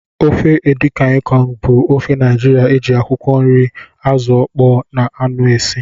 Ofe edikang ikong bụ ofe Naijiria eji akwụkwọ nri, azụ okpoo na aṅụ esị.